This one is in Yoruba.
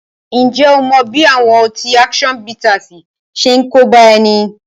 Ǹjẹ́ ó mọ bí àwọn ọtí action bittersi ṣe ń kóbá ẹni?